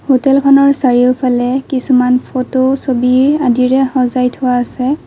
হোটেলখনৰ চাৰিওফালে কিছুমান ফটো ছবি আদিৰে সজাই থোৱা আছে।